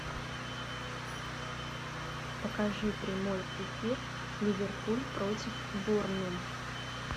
покажи прямой эфир ливерпуль против борнмут